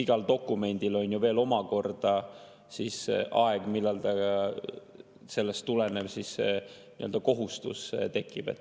Igal dokumendil on ju veel omakorda see aeg, millal sellest tulenev nii-öelda kohustus tekib.